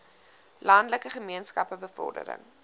landelike gemeenskappe bevordering